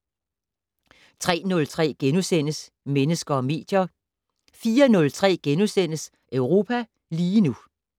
03:03: Mennesker og medier * 04:03: Europa lige nu *